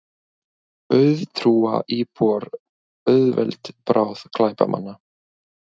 Auðtrúa íbúar auðveld bráð glæpamanna